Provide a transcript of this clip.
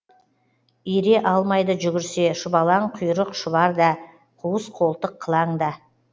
ере алмайды жүгірсе шұбалаң құйрық шұбар да қуыс қолтық қылаң да